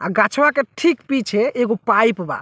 आ गछवा के ठीक पीछे एगो पाइप बा।